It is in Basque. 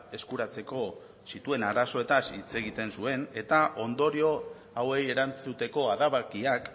eskuratzeko zituen arazoetaz hitz egiten zuen eta ondorio hauei erantzuteko adabakiak